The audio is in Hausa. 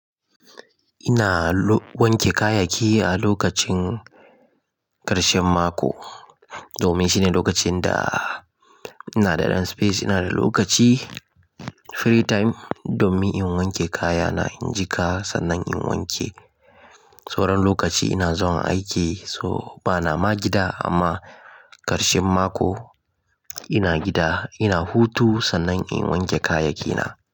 Ina wanke kayaki a lokacin karshen mako domin shine lokacin da ina da ɗan space. Ina da lokaci, free time domin in wanke kayana. In jiƙa sannan in wanke. Sauran lokaci ina zuwa aiki so bana ma gida amma karshen mako ina gida, ina hutu sannan in wanke kayakina.